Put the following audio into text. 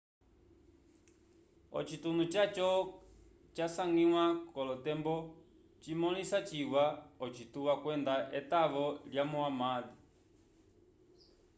ocitunu caco casangiwa k'olotembo cimõlisa ciwa ocituwa kwenda etavo lya muhammad